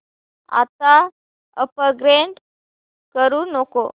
आता अपग्रेड करू नको